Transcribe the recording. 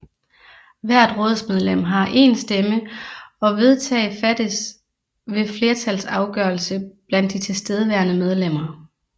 Hvert rådsmedlem har én stemme og vedtag fattes ved flertalsafgørelse blandt de tilstedeværende medlemmer